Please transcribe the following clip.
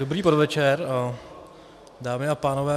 Dobrý podvečer, dámy a pánové.